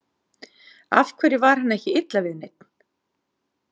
Af hverju var henni ekki illa við neinn?